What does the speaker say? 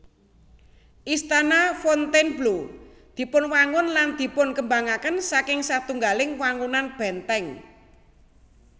Istana Fontainebleau dipunwangun lan dipunkembangaken saking satunggaling wangunan bèntèng